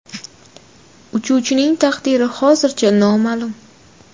Uchuvchining taqdiri hozircha noma’lum.